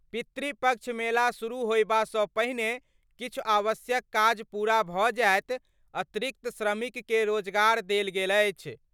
पितृपक्ष मेला शुरू होयबासँ पहिने किछु आवश्यक काज पूरा भऽ जायत अतिरिक्त श्रमिक के रोजगार देल गेल अछि।